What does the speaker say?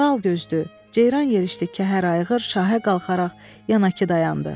Maral gözdü, ceyran yerişli Kəhər ayğır şahə qalxaraq yana ki dayandı.